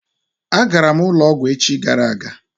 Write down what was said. A garam ulo ogwu echi gara aga